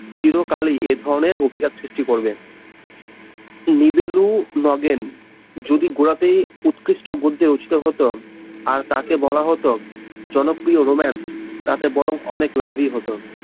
চিরকালই এই ধরনের অধিকার সৃষ্টি করবে, লিভিলো নগেন যদি গোড়াতেই উৎকৃষ্ট গদ্যে রচিত হতো আর তাকে বলা হতো জনপ্রিয় রোমান্স তাতে বরং অনেক লাভই হতো